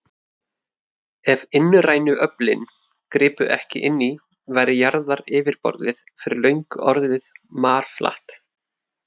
Ef innrænu öflin gripu ekki inn í, væri jarðaryfirborðið fyrir löngu orðið marflatt.